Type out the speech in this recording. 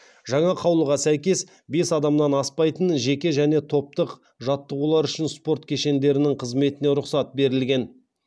жаңа қаулыға сәйкес бес адамнан аспайтын жеке және топтық жаттығулар үшін спорт кешендерінің қызметіне рұқсат берілген